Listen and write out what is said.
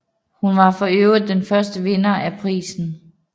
Hun var forøvrigt den første vinder af prisen